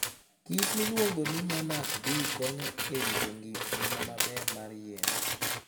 kich miluongo ni monarch bee konyo e rito ngima maber mar yien.